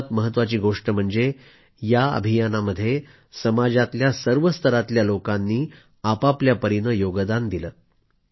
सर्वात महत्वाची गोष्ट म्हणजे या अभियानामध्ये समाजातल्या सर्व स्तरातल्या लोकांनी आपआपल्या परीने योगदान दिलं